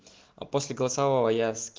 а после голосового